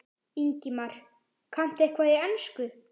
Ingimar: Kanntu eitthvað í ensku?